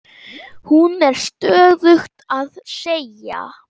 Hún er stöðugt að segja